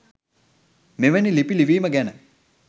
මෙවැනි ලිපි ලිවිම ගැන.